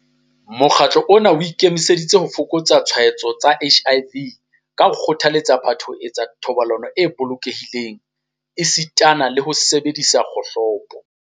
Mokgatlo ona o ikemiseditse ho fokotsa ditshwaetso tsa HIV ka ho kgothaletsa batho ho etsa thobalano e bolokehileng esitana le ho sebedisa dikgohlopo.